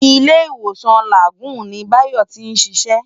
Ilé-Iwósán Lágùn ni Bayo ti n siṣè